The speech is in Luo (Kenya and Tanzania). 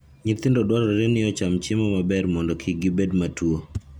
Nyithindo dwarore ni ocham chiemo maber mondo kik gibed matuwo.